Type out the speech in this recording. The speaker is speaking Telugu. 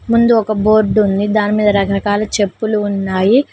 ముందు ఒక బోర్డు ఉంది దాని మీద రకరకాల చెప్పులు ఉన్నాయి.